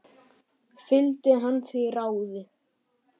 Fylgdi hann því ráði.